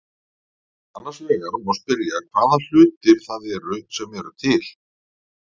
Annars vegar má spyrja hvaða hlutir það eru sem eru til.